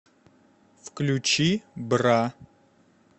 включи бра